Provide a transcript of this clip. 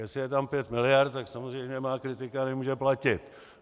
Jestli je tam pět miliard, tak samozřejmě má kritika nemůže platit.